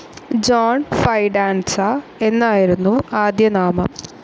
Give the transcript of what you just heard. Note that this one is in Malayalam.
ജോൺ ഫൈഡാൻസ എന്നായിരുന്നു ആദ്യനാമം.